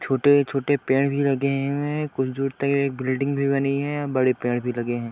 छोटे-छोटे पेड़ भी लगें हुए हैं। कुछ दूर तक एक बिल्डिंग भी बनी है और बड़े पेड़ भी लगे हैं।